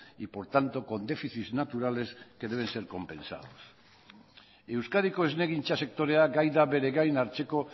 y por tanto con déficits naturales que deben ser compensados euskadiko esnegintza sektorea gai da bere gain hartzeko